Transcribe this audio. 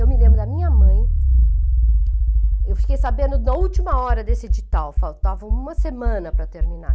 Eu me lembro da minha mãe, eu fiquei sabendo na última hora desse edital, faltava uma semana para terminar.